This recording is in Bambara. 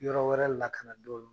Yɔrɔ wɛrɛ la ka na dɔɔnin